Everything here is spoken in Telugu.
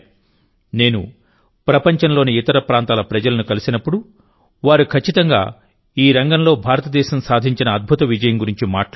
నేను ప్రపంచంలోని ఇతర ప్రాంతాల ప్రజలను కలిసినప్పుడువారు ఖచ్చితంగా ఈ రంగంలో భారతదేశం సాధించిన అద్భుత విజయం గురించి మాట్లాడతారు